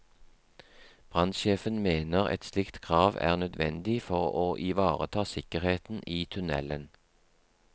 Brannsjefen mener et slikt krav er nødvendig for å ivareta sikkerheten i tunnelen.